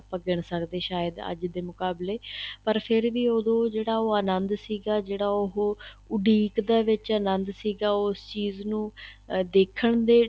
ਗਿੰਨ ਸਕਦੇ ਏ ਸ਼ਾਇਦ ਅੱਜ ਦੇ ਮੁਕਾਬਲੇ ਪਰ ਫ਼ੇਰ ਵੀ ਉਹਦੋ ਜਿਹੜਾ ਉਹ ਅਨੰਦ ਸੀਗਾ ਜਿਹੜਾ ਉਹ ਉਡੀਕ ਦੇ ਵਿੱਚ ਅਨੰਦ ਸੀਗਾ ਉਸ ਚੀਜ਼ ਨੂੰ ਦੇਖਣ ਦੇ